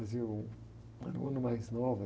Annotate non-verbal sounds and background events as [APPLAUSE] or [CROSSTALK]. Mas, [UNINTELLIGIBLE] era um ano mais novo.